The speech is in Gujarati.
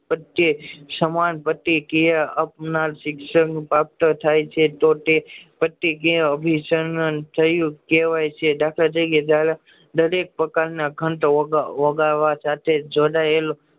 પ્રતેયક સમાન પ્રતેયક એ શિક્ષણ પ્રાપ્ત થાય છે કે તો તે પતરેયક ને થયું કેવાકય છે દાખલ તરીકે દરેક પ્રાકર ના ખાંડ ઓગાળવા